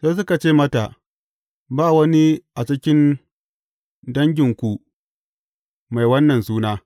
Sai suka ce mata, Ba wani a cikin danginku mai wannan suna.